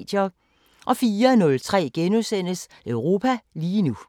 04:03: Europa lige nu *